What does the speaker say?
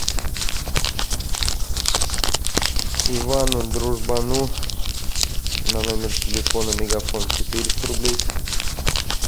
ивану дружбану на номер телефона мегафон четыреста рублей